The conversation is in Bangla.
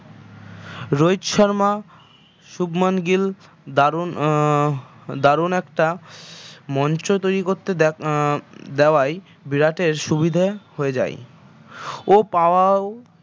রোহিত শর্মা শুভমান গিল দারুন আহ দারুন একটা মঞ্চ তৈরি করতে দেখ আহ দেওয়াই বিরাটের সুবিধে হয়ে যায় ও পাওয়াও